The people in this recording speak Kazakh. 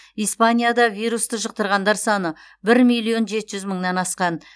испанияда вирусты жұқтырғандар саны бір миллион жеті жүз мыңнан асқан